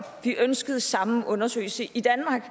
vi ønskede den samme undersøgelse i danmark